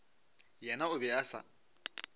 yena o be a sa